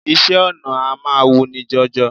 Iṣẹ́ ọnà a máa wuni jọjọ